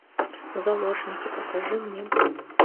заложники покажи мне